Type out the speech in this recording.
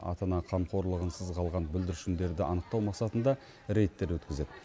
ата ана қамқорлығынсыз қалған бүлдіршіндерді анықтау мақсатында рейдтер өткізеді